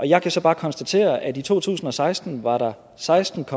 jeg kan så bare konstatere at i to tusind og seksten var der seksten